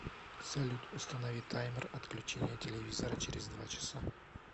салют установи таймер отключения телевизора через два часа